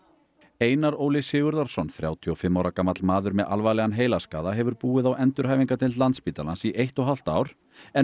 Einar Óli Sigurðarson þrjátíu og fimm ára gamall maður með alvarlegan heilaskaða hefur búið á endurhæfingardeild Landspítalans í eitt og hálft ár en